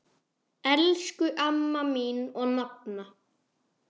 Elsku amma mín og nafna.